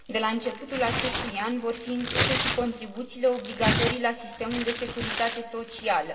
De la începutul acestui an vor fi incluse și contribuțiile obligatorii la sistemul de securitate socială.